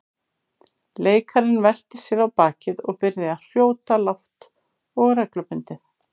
Leikarinn velti sér á bakið og byrjaði að hrjóta lágt og reglubundið.